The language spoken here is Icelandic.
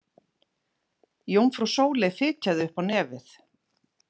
Jómfrú Sóley fitjaði upp á nefið.